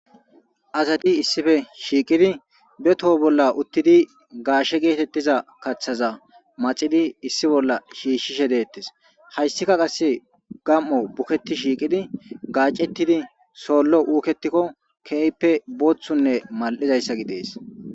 asati issife shiiqidi be toho bolla uttidi gaashe geetettiza kaththaza maxidi issi bolla shiishshishe deettes hayssika qasse gam7o buketi shiiqidi gaacetidi soollo uuketikko keeyppe booththunne mal7izayssa gidees